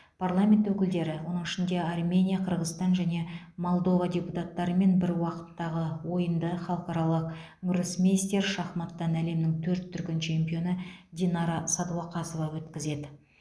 парламент өкілдері оның ішінде армения қырғызстан және молдова депутаттарымен бір уақыттағы ойынды халықаралық гроссмейстер шахматтан әлемнің төрт дүркін чемпионы динара сәдуақасова өткізеді